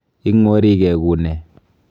Ing'warigee ku nee?